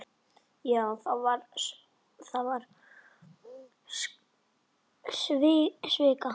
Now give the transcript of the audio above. Já, þú varst skvísa.